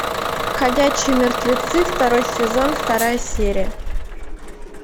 ходячие мертвецы второй сезон вторая серия